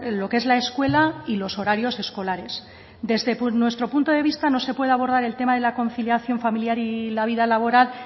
lo que es la escuela y los horarios escolares desde nuestro punto de vista no se puede abordar el tema de la conciliación familiar y la vida laboral